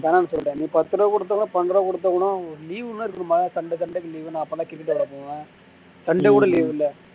வேணாம்னு சொல்லிட்டேன் நீ பத்து ரூபாய் குடுத்தா கூட பதினஞ்சு ரூபாய் குடுத்தா கூட ஒரு leave ன்னு இருக்கனும்ல sunday sunday க்கு leave ன்னு அப்போ நா cricket விளையாட போவேன் sunday கூட leave இல்ல